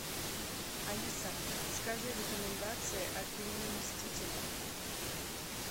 алиса скажи рекомендации о фильме мстители